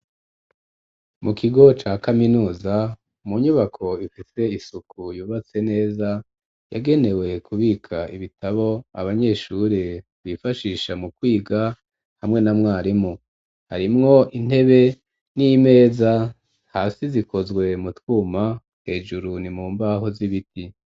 Mu kigo ca kaminuza mu nyubako ifite isuku yubatse neza yagenewe kubika ibitabo abanyeshure bifashisha mu kwiga hamwe na mwarimu harimwo intebe n'imeza hasi zikozwe mu twuma hejuru ni mu mbaho z'ibiti.